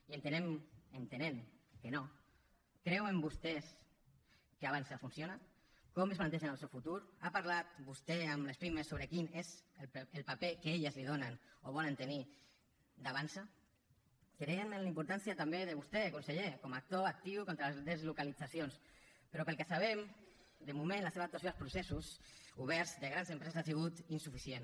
i entenent que no creuen vostès que avançsa funciona com es plantegen el seu futur ha parlat vostè amb les pimes sobre quin és el paper que elles li donen o volen tenir d’avançsa creiem en la importància també de vostè conseller com a actor actiu contra les deslocalitzacions però pel que sabem de moment la seva actuació als processos oberts de grans empreses ha sigut insuficient